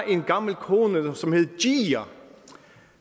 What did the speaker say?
en gammel kone